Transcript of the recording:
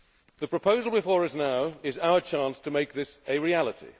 it. The proposal before us now is our chance to make this a reality.